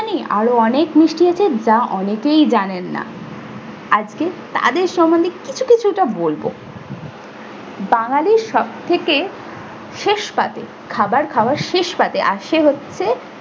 আরো অনেক মিষ্টি আছে যা অনেকেই জানেন না। আজকে তাদের সমন্ধে কিছু কিছু একটা বলবো। বাঙালির সবথেকে শেষ পাতে খাবার খাওয়ার শেষ পাতে আর সে হচ্ছে